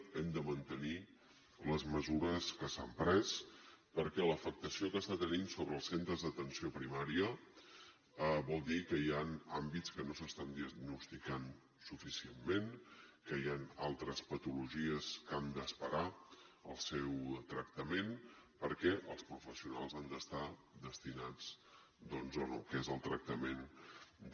hem de mantenir les mesures que s’han pres perquè l’afectació que està tenint sobre els centres d’atenció primària vol dir que hi ha àmbits que no s’estan diagnosticant suficientment que hi ha altres patologies que han d’esperar el seu tractament perquè els professionals han d’estar destinats doncs al que és el tractament de